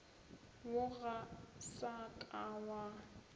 wo ga sa ka wa